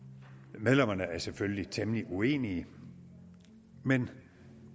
medlemmerne er selvfølgelig temmelig uenige men